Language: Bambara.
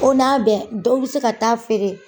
O n'a bɛɛ, dɔw be se ka taa feere.